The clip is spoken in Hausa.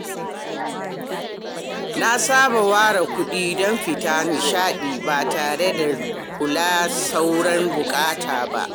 Na saba ware kuɗi don fita nishaɗi ba tare da kula sauran buƙatu ba.